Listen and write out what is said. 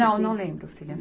Não, não lembro, filha.